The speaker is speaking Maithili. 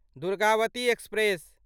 दुर्गावती एक्सप्रेस